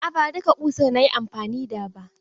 A'a, ba duka ƙusar na yi amfani da ba.